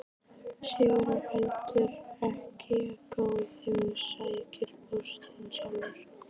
Sigurður heldur ekki of góður að sækja póstinn sjálfur.